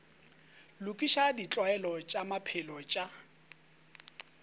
lokiša ditlwaelo tša maphelo tša